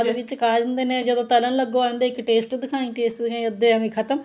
ਵਿੱਚ ਖਾ ਜਾਂਦੇ ਨੇ ਜਦੋਂ ਤਲਣ ਲੱਗੋ ਇੱਕ taste ਦਿਖਾਈ taste ਦਿਖਾਈ ਅੱਧੇ ਇਵੀਂ ਖਤਮ